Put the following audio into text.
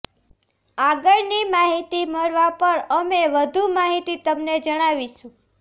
આગળની માહિતી મળવા પર અમે વધુ માહિતી તમને જણાવીશું